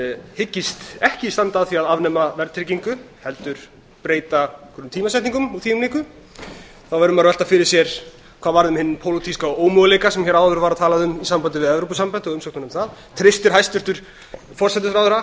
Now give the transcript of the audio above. hyggist ekki standa að því að afnema verðtryggingu heldur breyta einhverjum tímasetningum og því um líku þá verður maður að velta fyrir sér hvað hafi orðið um hinn pólitíska ómöguleika sem hér var áður talað um í sambandi við evrópusambandið og umsóknina um aðild að því treystir hæstvirtur forsætisráðherra